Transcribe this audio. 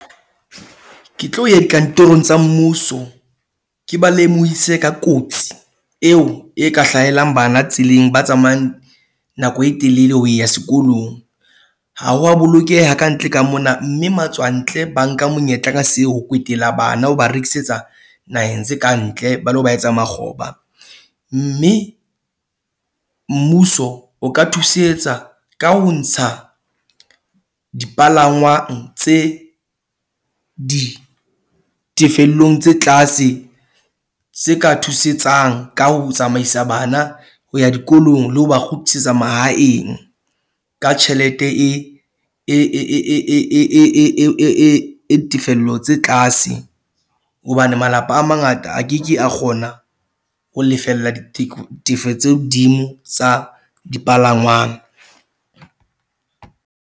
Ke tlo ya dikantorong tsa mmuso. Ke ba lemohise ka kotsi eo e ka hlahelang bana tseleng, ba tsamayang nako e telele ho ya sekolong. Ha wa bolokeha kantle ka mona mme matswantle ba nka monyetla ka seo. Ho kwetela bana ho ba rekisetsa naheng tse kantle ba lo ba etsa makgoba. Mme mmuso o ka thusetsa ka ho ntsha dipalangwang tse ditefelong tse tlase tse ka thusetsang ka ho, tsamaisa bana ho ya dikolong le ho ba kgutlisetsa mahaeng, ka tjhelete e e e e e e e e e tefello tse tlase. Hobane malapa a mangata a ke ke a kgona ho lefella ditefo tse hodimo tsa dipalangwang.